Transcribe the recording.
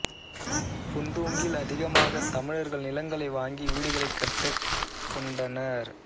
புந்தோங்கில் அதிகமாகத் தமிழர்கள் நிலங்களை வாங்கி வீடுகளைக் கட்டிக் கொண்டனர்